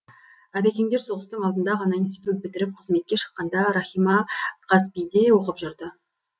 әбекеңдер соғыстың алдында ғана институт бітіріп қызметке шыққанда рахима қазпи де оқып жүрді